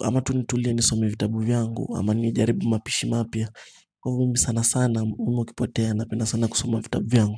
Ama tu nitulie nisome vitabu vyangu ama nijaribu mapishi mapya Kwa hivo mimi sana sana umemu ukipotea napenda sana kusoma vitabu vyangu.